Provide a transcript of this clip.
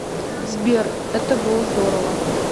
сбер это было здорово